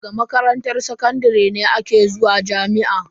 Daga makaranta sakandare ne aka zuwa jami'a.